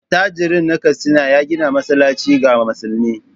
Attajirin nan Katsina ya gina masallaci ga musulmi.